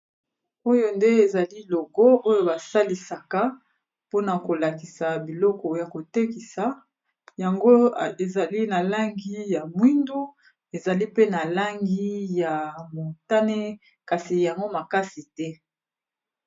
Oyo nde, ezali logo oyo basalisaka mpona kolakisa biloko ya kotekisa yango. Ezali na langi ya mwindu, ezali pe na langi ya motane, kasi yango makasi te.